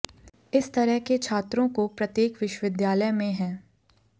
इस तरह के छात्रों को प्रत्येक विश्वविद्यालय में हैं